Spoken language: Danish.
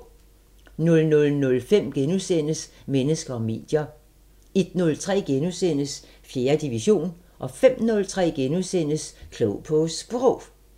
00:05: Mennesker og medier * 01:03: 4. division * 05:03: Klog på Sprog *